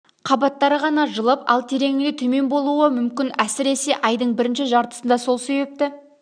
қабаттары ғана жылып ал тереңінде төмен болуы мүмкін әсіресе айдың бірінші жартысында сол себепті